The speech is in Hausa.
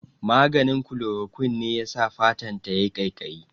Maganin Chloroquine ne yasa fatan ta yayi ƙaiƙayi